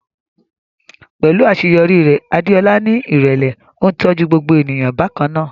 Pẹ̀lú àṣeyọrí rẹ̀, Adeola ní ìrẹ̀lẹ̀, ó ń tọ́jú gbogbo ènìyàn bákan náà.